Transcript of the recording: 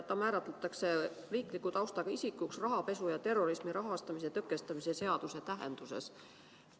Ta määratletakse riikliku taustaga isikuks rahapesu ja terrorismi rahastamise tõkestamise seaduse tähenduses.